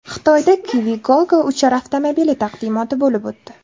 Xitoyda Kiwigogo uchar avtomobili taqdimoti bo‘lib o‘tdi.